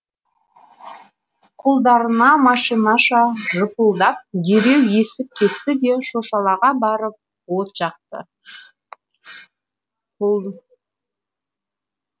қолдары машинаша жыпылдап дереу есіп кесті де шошалаға барып от жақты